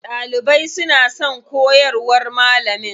Ɗalibai suna son koyarwar malamin.